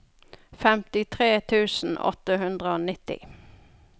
femtitre tusen åtte hundre og nitti